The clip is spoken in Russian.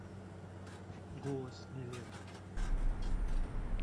голос не лето